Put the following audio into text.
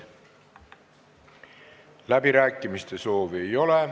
Läbirääkimiste soovi ei ole.